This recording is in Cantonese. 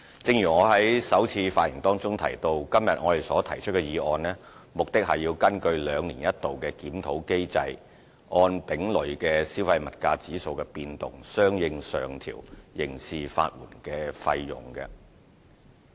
正如我在首次發言中提到，我這次提出的決議案，目的是根據兩年一度的檢討結果，按丙類消費物價指數的變動，相應上調刑事法援費用。